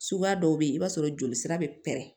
Suguya dɔw bɛ yen i b'a sɔrɔ joli sira bɛ pɛrɛn